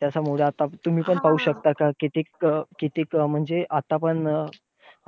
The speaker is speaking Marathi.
त्याच्यामुळे आता तुम्ही पण पाहू शकता, कितीक अं कितीक अं म्हणजे आता पण,